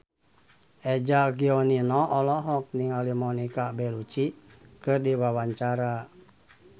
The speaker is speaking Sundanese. Eza Gionino olohok ningali Monica Belluci keur diwawancara